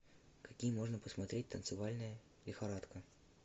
какие можно посмотреть танцевальные лихорадка